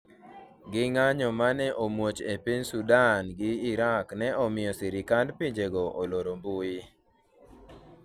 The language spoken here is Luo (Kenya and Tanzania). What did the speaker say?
gi ng'anyo mane omuoch e piny Sudan gi Irak ne omiyo sirikand pinjego oloro mbui